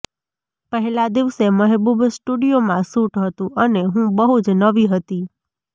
પહેલાં દિવસે મહેબૂબ સ્ટૂડિયોમાં શૂટ હતું અને હું બહુ જ નવી હતી